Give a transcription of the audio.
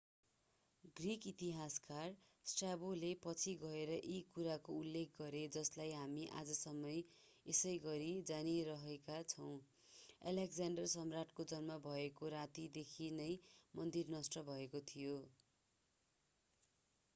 Greek इतिहासकार स्ट्राबोले पछि गएर यही कुराको उल्लेख गरे जसलाई हामी आजैसम्म यसैगरि जानीरहेका छौं अलेक्ज्याण्डर सम्राटको जन्म भएको रातदेखि नै मन्दिर नष्ट भएको थियो